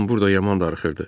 Lan burda yaman darıxırdı.